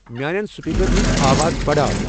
میانین سپیکرن ہٕنٛز آواز بڑاو ۔